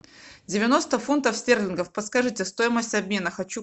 девяносто фунтов стерлингов подскажите стоимость обмена хочу